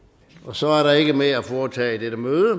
så er der ikke mere at foretage i dette møde